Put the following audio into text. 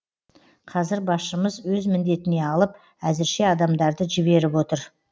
қазір басшымыз өз міндетіне алып әзірше адамдарды жіберіп отыр